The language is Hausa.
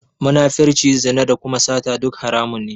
Munafirci, zina da kuma sata duk haramun ne.